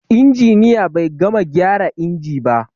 Injiniya bai gama gyara inji ba.